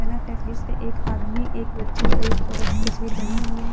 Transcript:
पे एक आदमी एक बच्ची और एक औरत की तस्वीर बनी हुई है।